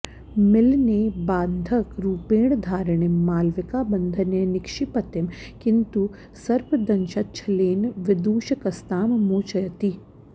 मिलने बाधंक रूपेण धारिणीं मालविका बन्धने निक्षिपतिं किन्तु सर्पदंशच्छलेन विदूषकस्तां मोचयति